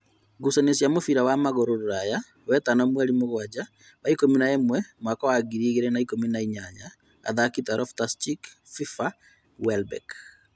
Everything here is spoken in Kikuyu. Ngucanio cĩa mũbira wa magũrũ Rũraya wetano mweri mũgwanja wa ikũmi na ĩmwe mwaka wa ngiri igĩrĩ na ikũmi na inyanya : athaki ta Loftus cheek, Fifa , Welbeck